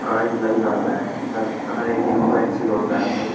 Card लग जाता है। हर हर ए.टी.एम. का एक्सिस होता है भाई।